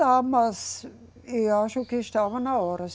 Dá, mas eu acho que estava na hora.